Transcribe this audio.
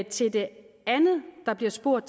til det andet der bliver spurgt